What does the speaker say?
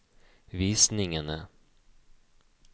visningene